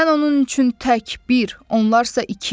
Mən onun üçün tək bir, onlar isə iki.